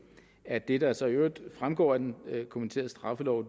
at det der så i øvrigt fremgår af den kommenterede straffelov